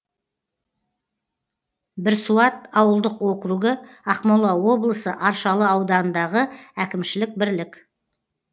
бірсуат ауылдық округі ақмола облысы аршалы ауданындағы әкімшілік бірлік